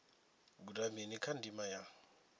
guda mini kha ndima ya